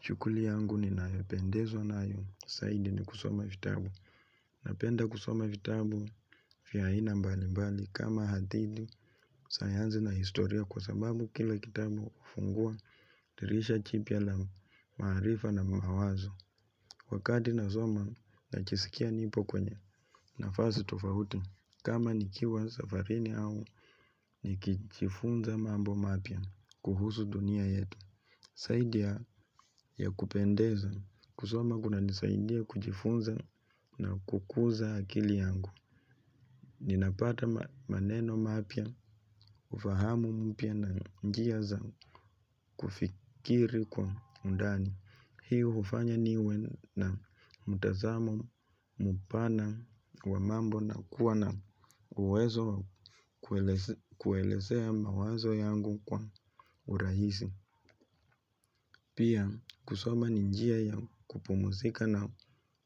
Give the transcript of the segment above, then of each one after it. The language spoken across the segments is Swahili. Shughuli yangu ninayopendezwa nayo, zaidi ni kusoma vitabu. Napenda kusoma vitabu, vya aina mbali mbali, kama hadithi, sayansi na historia kwa sababu kila kitabu hufungua, dirisha jipya la marifa na mawazo. Wakati nasoma, najisikia nipo kwenye nafasi tofauti. Kama nikiwa safarini au, nikijifunza mambo mapya, kuhusu dunia yetu. Zaidi ya kupendeza. Kusoma kunanisaidia kujifunza na kukuza akili yangu ninapata maneno mapyaufahamu mpya na njia za kufikiri kwa undani. Hii hufanya niwe na mtazamo mpana wa mambo na kuwa na uwezo kuelezea mawazo yangu kwa urahisi. Pia kusoma ni njia ya kupumuzika na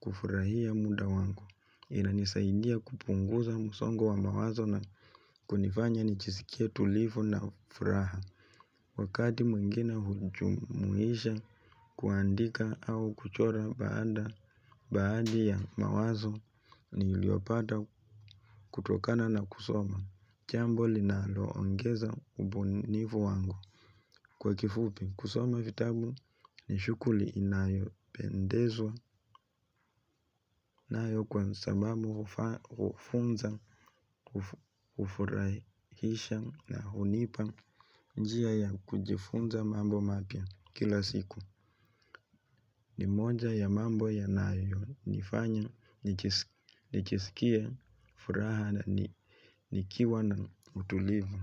kufurahia muda wangu. Inanisaidia kupunguza msongo wa mawazo na kunifanya nijisikie tulivu na furaha. Wakati mwingine hujumuisha kuandika au kuchora baada baadhi ya mawazo niliyopata kutokana na kusoma jambo linaloongeza ubunifu wangu. Kwa kifupi kusoma vitabu ni shughuli inayopendezwa nayo kwa sababu hufunza hufurahisha na hunipa njia ya kujifunza mambo mapya kila siku ni moja ya mambo yanayonifanya nikiskia furaha na nikiwa na utulivu.